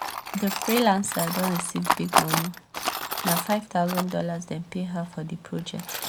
di freelancer don receive big moni. na five thousand dollars dem pay her for di project